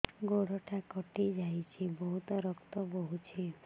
ଗୋଡ଼ଟା କଟି ଯାଇଛି ବହୁତ ରକ୍ତ ବହୁଛି